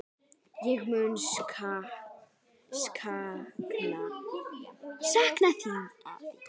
Ég mun sakna þín, afi.